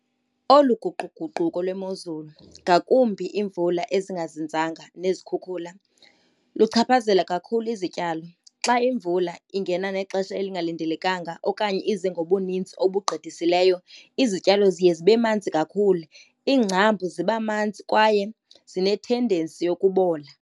Olu guquguquko lwemozulu ngakumbi imvula ezingazinzanga nezikhukhula luchaphazela kakhulu izityalo. Xa imvula ingena ngexesha elingalindelekanga okanye ize ngobuninzi obugqithisileyo, izityalo ziye zibe manzi kakhulu. Iingcambu ziba manzi kwaye zinethendensi yokubola.